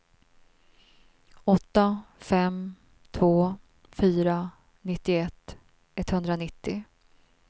åtta fem två fyra nittioett etthundranittio